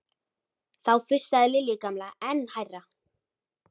Þá fussaði Lilja gamla enn hærra.